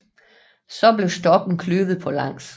Så blev stokken kløvet på langs